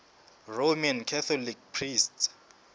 roman catholic priests